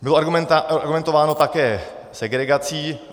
Bylo argumentováno také segregací.